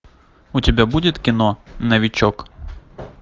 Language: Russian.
у тебя будет кино новичок